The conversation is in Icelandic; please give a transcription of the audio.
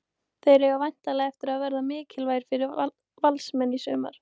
Þeir eiga væntanlega eftir að verða mikilvægir fyrir Valsmenn í sumar.